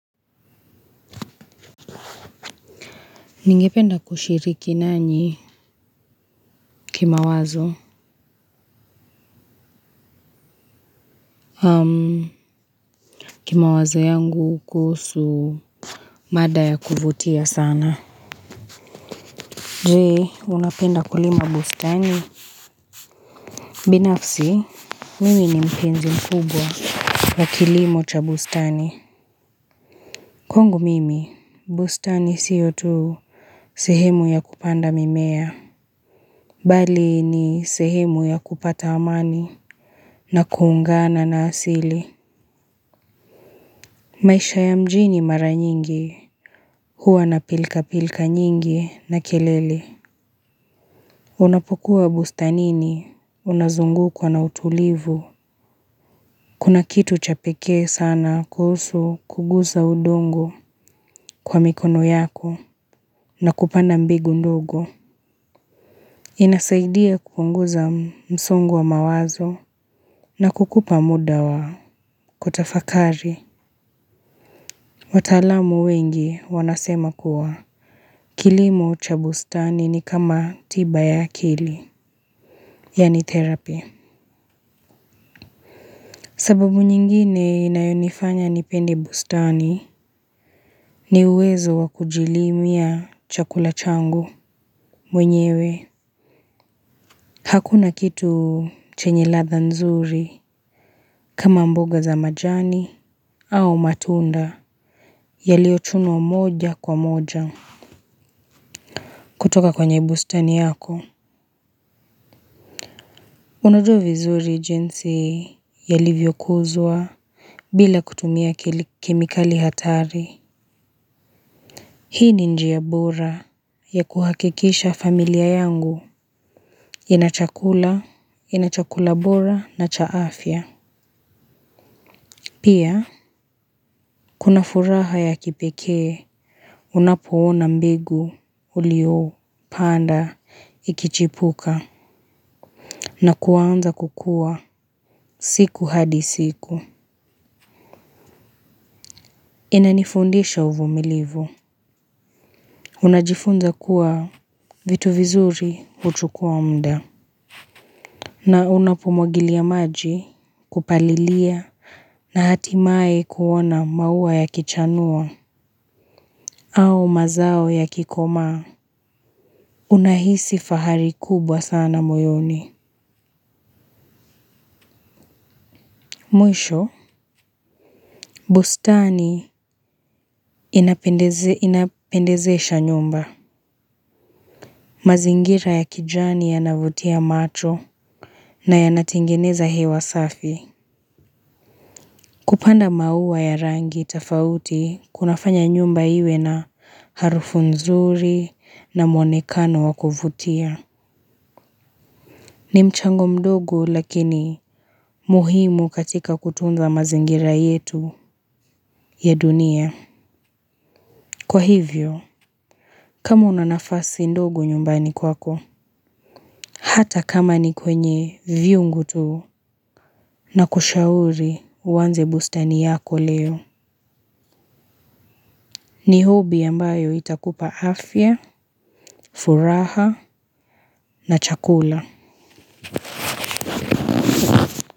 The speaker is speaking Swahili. Ningependa kushiriki nanyi kimawazo kimawazo yangu kuhusu mada ya kuvutia sana. Je unapenda kulima bustani? Binafsi mimi ni mpenzi mkubwa wa kilimo cha bustani. Kwangu mimi bustani siyo tu sehemu ya kupanda mimea bali ni sehemu ya kupata amani na kuungana na asili. Maisha ya mjini mara nyingi, huwa na pilka pilka nyingi na kelele. Unapokuwa bustanini, unazungukwa na utulivu. Kuna kitu cha pekee sana kuhusu kugusa udongo kwa mikono yako na kupanda mbegu ndogo. Inasaidia kupunguza msongo wa mawazo na kukupa muda wa kutafakari. Wataalamu wengi wanasema kuwa. Kilimo cha bustani ni kama tiba ya akili, yaani therapy. Sababu nyingine inayonifanya nipendi bustani ni uwezo wa kujilimia chakula changu mwenyewe. Hakuna kitu chenye ladha nzuri kama mboga za majani au matunda yaliyochumwa moja kwa moja kutoka kwenye bustani yako. Unajua vizuri jinsi yalivyokuzwa bila kutumia kemikali hatari. Hii ni njia bora ya kuhakikisha familia yangu ina chakula, ina chakula bora na cha afya. Pia, kuna furaha ya kipekee, unapoona mbigu, uliyopanda, ikichipuka, na kuanza kukua siku hadi siku. Inanifundisha uvumilivu. Unajifunza kuwa vitu vizuri huchukua muda na unapumwagilia maji kupalilia na hatimaye kuona maua yakichanua au mazao yakikomaa unahisi fahari kubwa sana moyoni. Mwisho, bustani inapendezesha nyumba. Mazingira ya kijani yanavutia macho na yanatengeneza hewa safi. Kupanda maua ya rangi tofauti kunafanya nyumba iwe na harufu nzuri na mwonekano wa kuvutia. Ni mchango mdogo lakini muhimu katika kutunza mazingira yetu ya dunia. Kwa hivyo, kama una nafasi ndogo nyumbani kwako, hata kama ni kwenye vyungu tu na kushauri uanze bustani yako leo, ni hobby ambayo itakupa afya, furaha na chakula.